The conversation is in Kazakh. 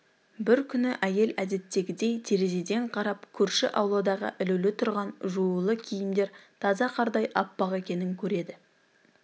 бір күні әйел әдеттегідей терезеден қарап көрші ауладағы ілулі тұрған жуулы киімдер таза қардай аппақ екенін көреді